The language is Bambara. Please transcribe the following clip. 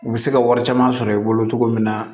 U bɛ se ka wari caman sɔrɔ i bolo cogo min na